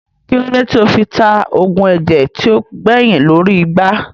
Kílódé tí ó fi ta oògùn ẹ̀jẹ̀ tí ó gbẹyìn lórí igbá